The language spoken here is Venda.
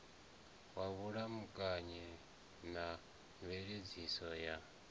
wa vhulamukanyi na mveledziso ya